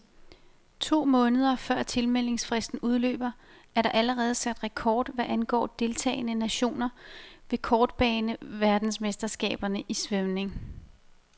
To måneder før tilmeldingsfristen udløber, er der allerede sat rekord hvad angår deltagende nationer ved kortbaneverdensmesterskaberne i svømning.